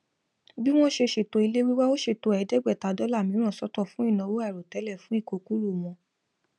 bí wón ṣe ṣètò ilé wíwá ó ṣètò ẹẹdẹgbẹta cs] dollar mìíràn sọtọ fún ìnáwó àìròtẹlẹ fún ìkókúrò wọn